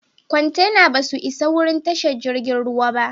Kwantenan ba su isa wurin tashar jirigin ruwan ba.